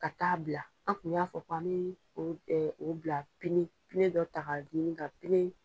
Ka taa bila an kun y'a fɔ kan bɛ o ɛ o bila dɔ taga ɲini ka